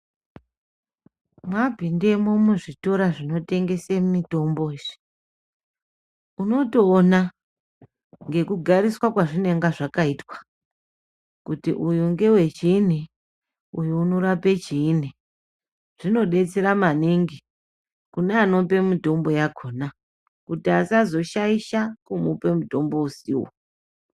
Mwapindemo muzvitora zvinotengese mitombo izvi, unotoona ngekugariswa kwazvinenge zvakayitwa, kuti uyu ngewechiyini, uyu unorape chiyini .Zvinodetsera maningi kune anope mitombo yakona, kuti asazoshayisha kumupe mutombo usiwo.